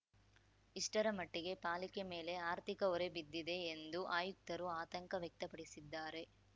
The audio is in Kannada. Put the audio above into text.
ಇಷ್ಟರ ಮಟ್ಟಿಗೆ ಪಾಲಿಕೆ ಮೇಲೆ ಆರ್ಥಿಕ ಹೊರೆ ಬಿದ್ದಿದೆ ಎಂದು ಆಯುಕ್ತರು ಆತಂಕ ವ್ಯಕ್ತಪಡಿಸಿದ್ದಾರೆ